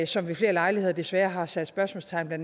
som ved flere lejligheder desværre har sat spørgsmålstegn ved